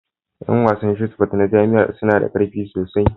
Yan wasan Shotput na jami'a suna da ƙarfi sosai